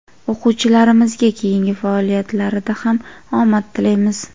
O‘quvchilarimizga keyingi faoliyatlarida ham omad tilaymiz!.